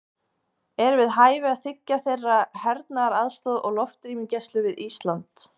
Er við hæfi að þiggja þeirra hernaðaraðstoð og loftrýmisgæslu við Ísland?